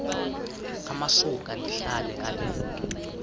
amasuka ndihlala ale